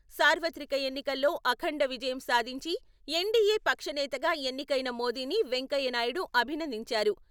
సార్వత్రిక ఎన్నికల్లో అఖండ విజయం సాధించి, ఎన్డీఏ పక్షనేతగా ఎన్నికైన మోదీని వెంకయ్య నాయుడు అభినందించారు.